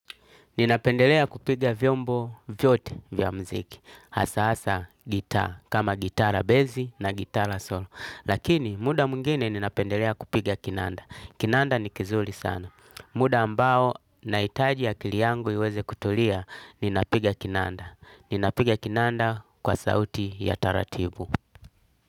Ninapendelea kupiga vyombo vyote vya muziki, hasa hasa gitaa, kama gitaa la benzi na gitaa la solo. Lakini muda mwingine ninapendelea kupiga kinanda. Kinanda ni kizuri sana. Muda ambao nahitaji akili yangu iweze kutulia, ninapiga kinanda. Ninapiga kinanda kwa sauti ya taratibu.